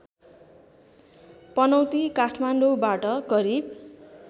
पनौती काठमाडौँबाट करिब